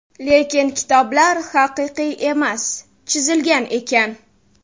Lekin kitoblar haqiqiy emas, chizilgan ekan!.